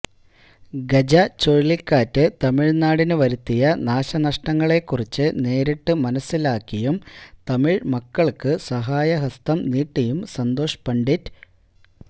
ഗജ ചുഴലിക്കാറ്റ് തമിഴ്നാടിന് വരുത്തിയ നാശനഷ്ടങ്ങളെക്കുറിച്ച് നേരിട്ട് മനസ്സിലാക്കിയും തമിഴ്മക്കള്ക്ക് സഹായ ഹസ്തം നീട്ടിയും സന്തോഷ് പണ്ഡിറ്റ്